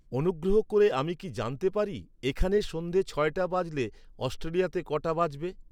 অনুগ্রহ করে আমি কি জানতে পারি এখানে সন্ধ্যে ছয়টা বাজলে, অস্ট্রেলিয়াতে কটা বাজবে?